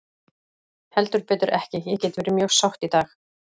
Heldur betur ekki, ég get verið mjög sátt í dag.